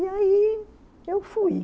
E aí eu fui.